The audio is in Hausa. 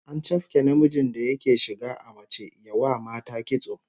An chafke namijin da yake shiga a mace ya wa mata kitso